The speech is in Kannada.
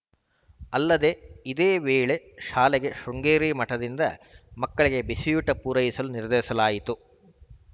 ಅಲ್ಲದೆ ಇದೇ ವೇಳೆ ಶಾಲೆಗೆ ಶೃಂಗೇರಿ ಮಠದಿಂದ ಮಕ್ಕಳಿಗೆ ಬಿಸಿಯೂಟ ಪೂರೈಸಲು ನಿರ್ಧರಿಸಲಾಯಿತು